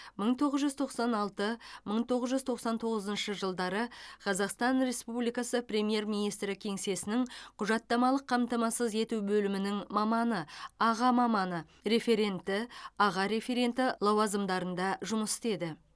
мың тоғыз жүз тоқсан алты мың тоғыз жүз тоқсан тоғызыншы жылдары қазақстан республикасы премьер министрі кеңсесінің құжаттамалық қамтамасыз ету бөлімінің маманы аға маманы референті аға референті лауазымдарында жұмыс істеді